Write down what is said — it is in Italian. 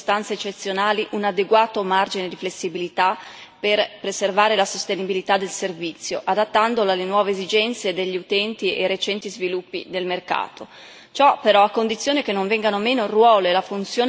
Non si nega la necessità di garantire, in presenza di circostanze eccezionali, un adeguato margine di flessibilità per preservare la sostenibilità del servizio, adattandolo alle nuove esigenze degli utenti e ai recenti sviluppi del mercato.